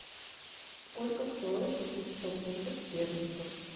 сколько стоит купить сто фунтов стерлингов